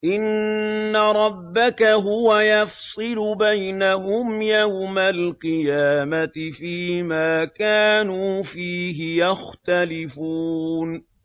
إِنَّ رَبَّكَ هُوَ يَفْصِلُ بَيْنَهُمْ يَوْمَ الْقِيَامَةِ فِيمَا كَانُوا فِيهِ يَخْتَلِفُونَ